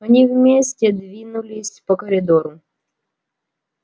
они вместе двинулись по коридору